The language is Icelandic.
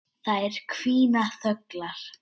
Þær hvína þöglar.